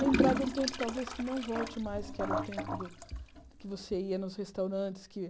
Lembrar de um tempo, talvez, que não volte mais, que era o tempo do que você ia nos restaurantes que.